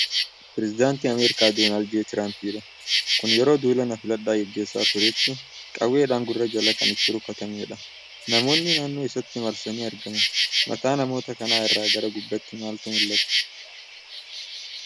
Pireezidaantii Ameerikaa Doonaanld Jee Traampidha. Kun yeroo duula na filadhaa gaggeessaa turetti qawweedhaan gurra jala kan itti rukutameedha. Namoonni naannoo isaatti marsanii argamu. Mataa namoota kanaa irra gara gubbaatti maaltu mul'ata?